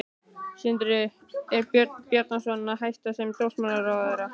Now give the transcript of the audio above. Sindri: Er Björn Bjarnason að hætta sem dómsmálaráðherra?